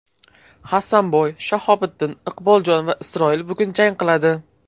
Hasanboy, Shahobiddin, Iqboljon va Isroil bugun jang qiladi.